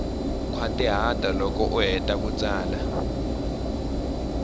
khwatihata loko u heta ku tsala